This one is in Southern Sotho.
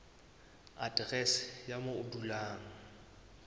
aterese ya moo o dulang